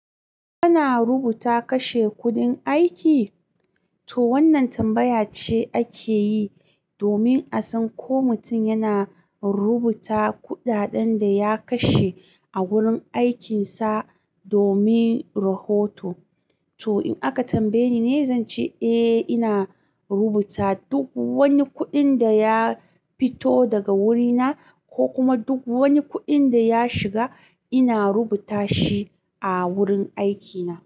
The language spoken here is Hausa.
Kana rubuta kashe kuɗin aiki? To wannan tambaya ce ake yi domin a san ko mutum yana rubuta kuɗaɗen da ya kashe a wurin aikinsa domin rahoto. To in aka tambaye ni ne zan ce eh ina rubuta duk wani kuɗin da ya fito daga wurina ko kuma duk wani kuɗin da ya shiga ina rubuta shi a wurin aikina.